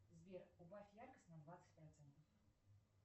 сбер убавь яркость на двадцать процентов